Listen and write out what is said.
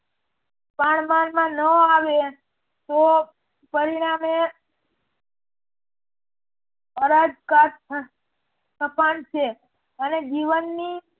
પાનબાણમાં ન આવે તો પરિણામે અને જીવનની